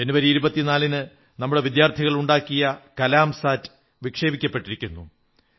ജനുവരി 24 ന് നമ്മുടെ വിദ്യാർഥികളുണ്ടാക്കിയ കലാം സാറ്റ് വിക്ഷേപിക്കപ്പെട്ടിരിക്കുന്നു